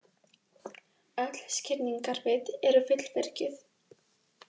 Öll skilningarvit eru fullvirkjuð.